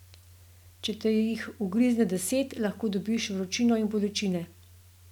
Če te jih ugrizne deset, lahko dobiš vročino in bolečine.